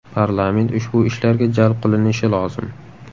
Parlament ushbu ishlarga jalb qilinishi lozim.